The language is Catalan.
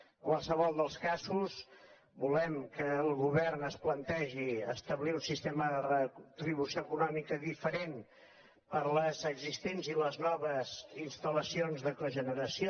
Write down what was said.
en qualsevol dels casos volem que el govern es plantegi establir un sistema de retribució econòmica diferent per a les existents i les noves instal·lacions de cogeneració